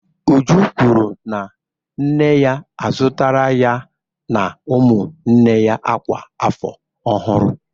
Uju kwuru na nne ya azụtara ya na ụmụnne ya akwa afọ ọhụrụ